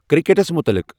کرکٹس مُطلق ۔